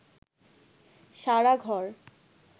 সারা ঘর